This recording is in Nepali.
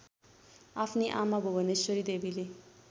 आफ्नी आमा भुवनेश्वरीदेवीले